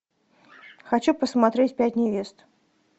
хочу посмотреть пять невест